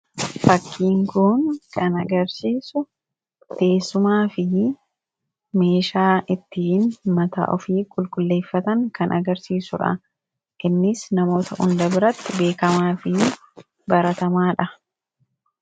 Fakkiin Kun kan agarsiisu, teessumaa fi meeshaa ittiin mataa ofii qulqulleeffatan kan agarsiisudha. Innis namoota hunda biratti beekamaa fi baratamaadha.